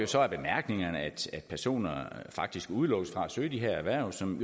så af bemærkningerne at personer faktisk udelukkes fra at søge de her erhverv som